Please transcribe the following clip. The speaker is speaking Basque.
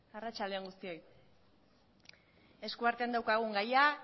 arratsalde on guztioi eskuartean daukagun gaia